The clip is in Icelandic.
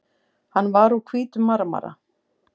Hann var úr hvítum marmara.